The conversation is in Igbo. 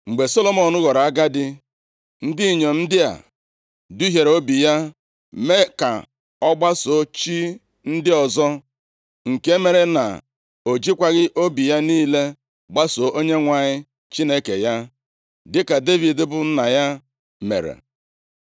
Mgbe Solomọn ghọrọ agadi, ndị inyom ndị a duhiere obi ya mee ka ọ gbasoo chi ndị ọzọ, nke mere na o jikwaghị obi ya niile gbasoo Onyenwe anyị Chineke ya, dịka Devid bụ nna ya mere.